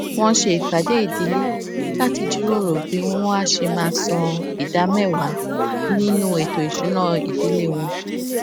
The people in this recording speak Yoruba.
wón ṣe ìpàdé ìdílé láti jíròrò bí wón á ṣe máa san ìdá méwàá nínú ètò ìsúnná ìdílé wọn